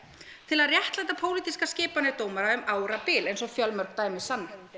til að réttlæta pólitískar skipanir dómara um árabil eins og fjölmörg dæmi sanna